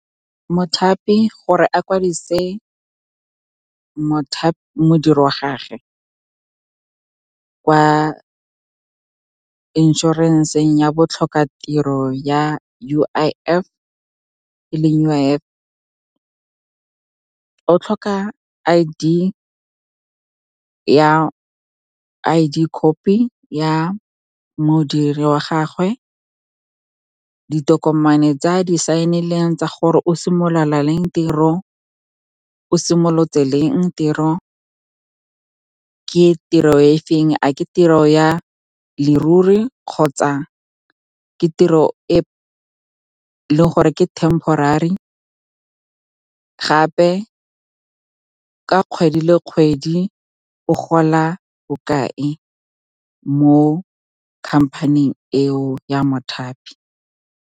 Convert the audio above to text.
Mothapi gore a kwadise modiri wa gagwe ka inšorenseng ya botlhokatiro e leng U_I_F, o tlhoka I_D copy ya modiri wa gagwe, ditokomane tsa di-sign-ileng tsa gore o simolotse leng tiro, ke tiro e feng, a ke tiro ya leruri kgotsa ke tiro e leng gore ke temporary. Gape ka kgwedi le kgwedi o gola bokae mo company-eng eo ya mothapi.